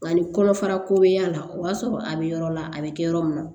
Ani kɔnɔfara ko bɛ y'a la o b'a sɔrɔ a bɛ yɔrɔ la a bɛ kɛ yɔrɔ min na